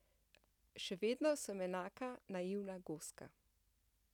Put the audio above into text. Še vedno sem enaka naivna goska.